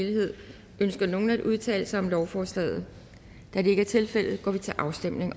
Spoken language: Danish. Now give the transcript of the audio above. helhed ønsker nogen at udtale sig om lovforslaget da det ikke er tilfældet går vi til afstemning